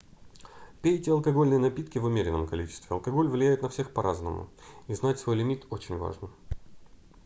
пейте алкогольные напитки в умеренном количестве алкоголь влияет на всех по-разному и знать свой лимит очень важно